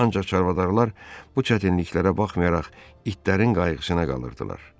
Ancaq çarvadarlar bu çətinliklərə baxmayaraq itlərin qayğısına qalırdılar.